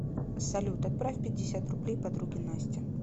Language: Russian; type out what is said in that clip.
салют отправь пятьдесят рублей подруге насте